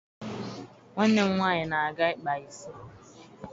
Nwanne m nwaanyị na-aga ịkpa isi